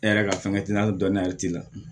E yɛrɛ ka fɛnkɛ t'i la hali dɔnniya t'i la